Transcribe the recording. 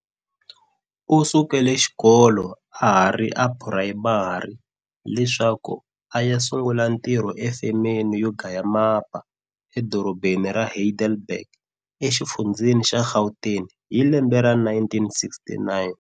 U sukele xikolo ahari a phurayimari, leswaku a ya sungula ntirho e femeni yo gaya mapa, edorobheni ra Heidelberg, e xifundzheni xa Gauteng, hi lembe ra 1969.